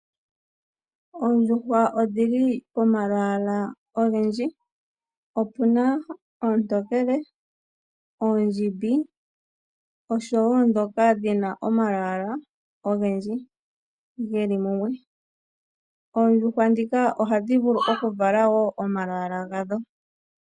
Oondjuhwa odhili pomalwaala ogendji. Opuna ndhoka oontokele, oondjimbi, oshowo ndhoka dhina omalwaala ogendji geli mumwe. Oondjuhwa ndhika ohadhi vulu okuvala wo omalwaala gadho.